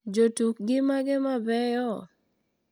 Jotukgi mage mabeyo?